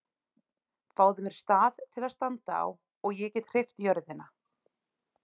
Fáðu mér stað til að standa á og ég get hreyft jörðina!